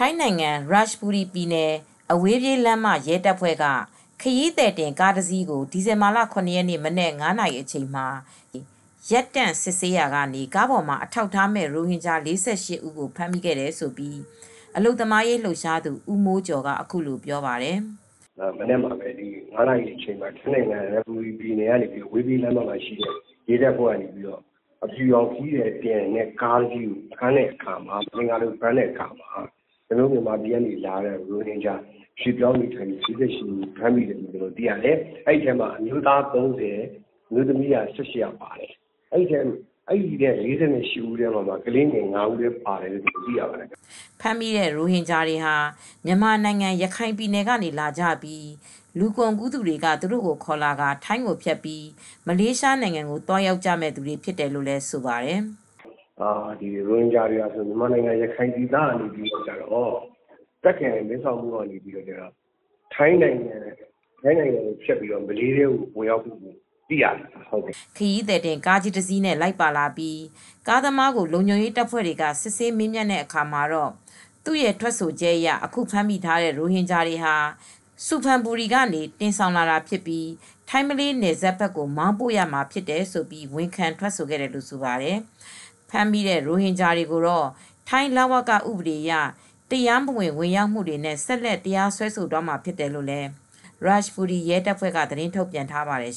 ိုင်းနိုင်ငံ ရတ်ချ်ဘူရီပြည်နယ် အဝေးပြေးလမ်းမ ရဲတပ်ဖွဲ့က ခရီးသည်တင် ကားတစီးကို ဒီဇင်ဘာလ ၇ ရက်နေ့မနက် ၅ နာရီအချိန်မှာ တားဆီးစစ်ဆေးရာမှာ ကားပေါ်မှာ အထောက်အထားမဲ့ ရိုဟင်ဂျာ ၄၈ ဦးကို ဖမ်းမိခဲ့တယ်လို့ အလုပ်သမားရေးလှုပ်ရှားသူ ဦးမိုးကျော်က အခုလိုပြောပြပါတယ်။ " ဒီမနက် ၅ နာရီအချိန်လောက်မှာ ထိုင်းနိုင်ငံ ရတ်ချ်ဘူရီပြည်နယ်ထဲက အဝေးပြေးလမ်း ရဲတပ်ဖွဲ့က အဖြူရောင် ခရီးသည်တင်ကားကို ဖမ်းဆီးတဲ့အခါမှာ ၊ မသင်္ကာလို့ဖမ်းတဲ့အခါမှာ ကျနော်တို့ မြန်မာနိုင်ငံကလာတဲ့ ရိုဟင်ဂျာ ၄၈ ဦးကို ဖမ်းမိပါတယ်။ အဲဒီထဲမှာ အမျိုးသား ၃၀ ၊ အမျိုးသမီး ၁၈ ဦး အဲဒီလူတွေထဲမှာ ကလေးငယ်က ၅ ဦး ပါတယ်လို့သိရပါတယ်။" ဖမ်းမိတဲ့ ရိုဟင်ဂျာတွေဟာ မြန်မာနိုင်ငံ ရခိုင်ကနေ လာကြပြီး လူကုန်ကူးသူတွေက သူတို့ကိုခေါ်လာရင်း ထိုင်းကိုဖြတ်ကာ မလေးရှားနိုင်ငံကို သွားရောက်ကြမယ့်သူတွေ ဖြစ်တယ်လို့လည်း ဆိုပါတယ်။ " ရိုဟင်ဂျာတွေဟာ မြန်မာနိုင်ငံကဖြစ်ပြီး တာခ့်ပြည်နယ် မဲဆောက်မြို့ကနေ ထိုင်းနိုင်ငံကိုဖြတ်ပြီးတော့ မလေးရှားနိုင်ငံကို ဝင်ရောက် အလုပ်လုပ်ကိုင်ကြမယ့်သူတွေ ဖြစ်တယ်လို့သိရပါတယ်။" ခရီသည်တင် ကားကြီးတစီးနဲ့ လိုက်ပါလာပြီး ကားသမားကို လုံခြုံရေးတပ်ဖွဲ့တွေ စစ်ဆေးမေးမြန်းတဲ့အခါ သူရဲ့ ထွက်ဆိုချက်အရ အခုဖမ်းမိထားတဲ့ ရိုဟင်ဂျာတွေဟာ ဆူဖန်ဘူရီကနေ တင်ဆောင်လာတာဖြစ်ပြီး ထိုင်းမလေးနယ်စပ်ကို မောင်းပို့မှာဖြစ်တယ်လို့ ဝန်ခံထွက်ဆိုခဲ့တယ်လို့ ဆိုပါတယ်။ ဖမ်းမိတဲ့ ရိုဟင်ဂျာတွေကိုတော့ ထိုင်း လဝကဥပဒေအရ တရားမဝင် ဝင်ရောက်လာမှုနဲ့ ဆက်လက် တရားဆွဲဆိုသွားမှာ ဖြစ်တယ်လို့ ရတ်ချ်ဘူရီ ရဲတပ်ဖွဲ့က သတင်းထုတ်ပြန်ထားပါတယ်